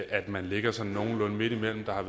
at man ligger sådan nogenlunde midtimellem der har